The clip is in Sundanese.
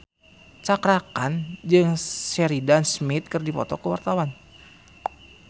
Cakra Khan jeung Sheridan Smith keur dipoto ku wartawan